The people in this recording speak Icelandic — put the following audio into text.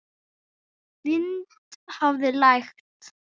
Vind hafði lægt.